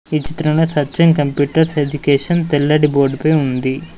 ఈ చిత్రంలో Satyam computers education తెల్లటి బోర్డుపై ఉంది.